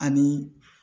Ani